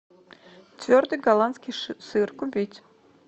твердый голландский сыр купить